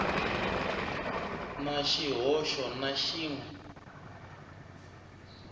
na xihoxo na xin we